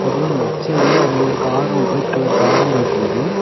அப்புற லெப்ட் சைய்டுல அங்க ஒரு காரு ஒயிட் கலர் காரு போயிட்டு இருக்கு.